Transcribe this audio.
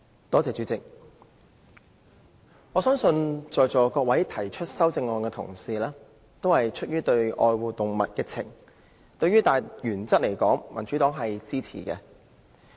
代理主席，我相信在座各位提出修正案的同事，均出於愛護動物的感情；對大原則而言，民主黨是支持的。